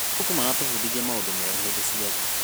Mabuku maratũbundithia maũndũ merũ hĩndĩ ciothe.